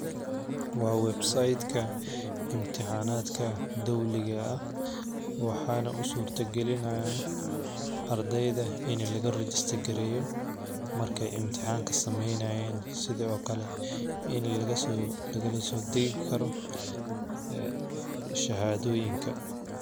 Waa Web site ka intixanaada dowliga eh waxana usurta galinaya ardeyda ini laga register gareyo marki ee intixanka sameynayan sithokale shahadoyinka.